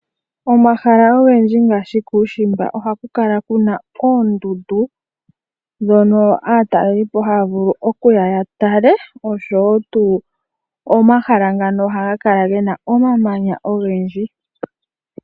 Omahala ogendji ngaashi kuushimba ohaku kala ku na oondundu, dhono aatalelipo haya vulu okuya ya tale. Omahala ngano ohaga kala gena omamanya ogendji.